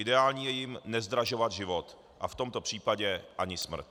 Ideální je jim nezdražovat život a v tomto případě ani smrt.